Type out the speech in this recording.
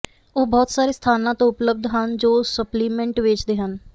ਉਹ ਬਹੁਤ ਸਾਰੇ ਸਥਾਨਾਂ ਤੋਂ ਉਪਲਬਧ ਹਨ ਜੋ ਸਪਲੀਮੈਂਟ ਵੇਚਦੇ ਹਨ